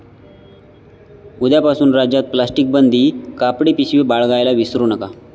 उद्यापासून राज्यात प्लास्टिक बंदी, कापडी पिशवी बाळगायला विसरू नका!